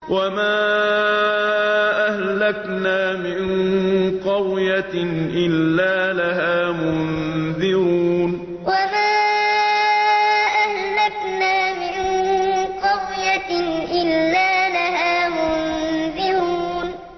وَمَا أَهْلَكْنَا مِن قَرْيَةٍ إِلَّا لَهَا مُنذِرُونَ وَمَا أَهْلَكْنَا مِن قَرْيَةٍ إِلَّا لَهَا مُنذِرُونَ